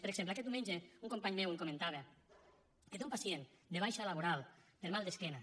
per exemple aquest diumenge un company meu em comentava que té un pacient de baixa laboral per mal d’esquena